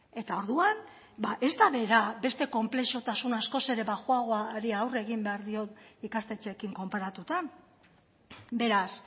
eta orduan ez da bera beste konplexutasun askoz ere baxuagoari aurre egin behar dion ikastetxeekin konparatuta beraz